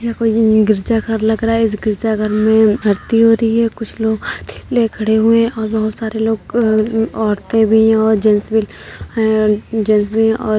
यह गिरिजाघर लग रहा है | इस गिरजाघर में आरती हो रही है | कुछ और बहोत सारे लोग औरतें भी है जेंट्स भी हैं और --